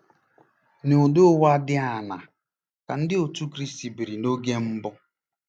N’ụdị ụwa dị aṅaa ka Ndị Otú Kristi biri noge mbụ?